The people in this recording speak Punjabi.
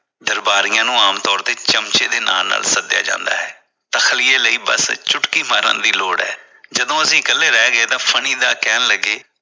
ਦਰਬਾਰੀਆਂ ਨੂੰ ਆਮ ਤੌਰ ਤੇ ਚਮਚਿਆਂ ਦੇ ਨਾਲ ਸੱਦਿਆ ਜਾਂਦਾ ਹੈ ਤਖਲਿਏ ਲਈ ਬਸ ਚੁਟਕੀ ਮਾਰਨ ਦੀ ਲੋੜ ਹੈ ਜਦੋਂ ਅਸੀ ਇਕੱਲੇ ਰਹਿ ਗਏ ਤਾਂ ਫਨੀਦਾ ਕਹਿਣ ਲੱਗੇ।